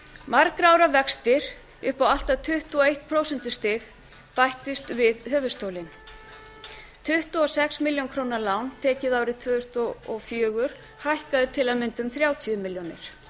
margra ára vextir upp á allt að tuttugu og eitt prósentustig bættust við höfuðstólinn tuttugu og sex milljónir króna lán tekið árið tvö þúsund og fjögur hækkaði til að mynda um þrjátíu milljónir